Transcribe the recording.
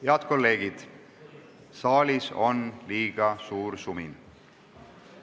Head kolleegid, saalis on liiga suur sumin.